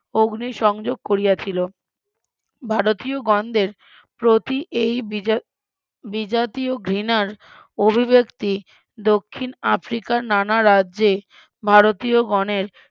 অগ্নিসংযোগ করিয়াছিল ভারতীয়গনদের প্রতি এই বিজা বিজাতীয় ঘৃণার অভিব্যাক্তি দক্ষিন আফ্রিকার নানা রাজ্যে ভারতীয় গনের